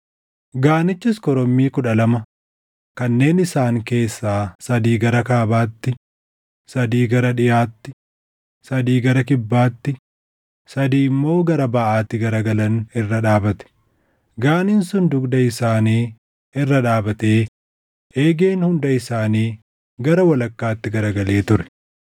Gaanichis korommii kudha lama kanneen isaan keessaa sadii gara kaabaatti, sadii gara dhiʼaatti, sadii gara kibbaatti, sadii immoo gara baʼaatti garagalan irra dhaabate. Gaaniin sun dugda isaanii irra dhaabatee eegeen hunda isaanii gara walakkaatti garagalee ture.